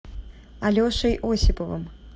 алешей осиповым